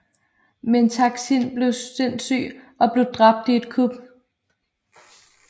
Men Taksin blev sindssyg og blev dræbt i et kup